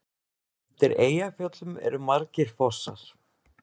Undir Eyjafjöllum eru margir fossar.